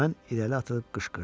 Mən irəli atılıb qışqırdım.